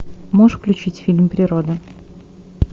можешь включить фильм природа